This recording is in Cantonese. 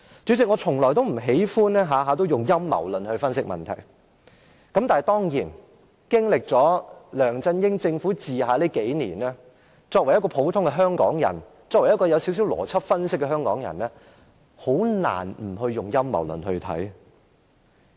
主席，我從不喜歡動輒以陰謀論來分析問題，但經歷了梁振英政府治下這數年，作為一個普通的香港人，作為一個有少許邏輯分析能力的香港人也很難不以陰謀論來看這事。